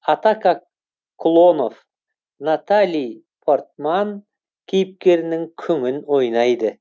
атака клонов натали портман кейіпкерінің күңін ойнайды